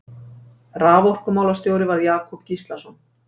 Raforkumálastjóri varð Jakob Gíslason.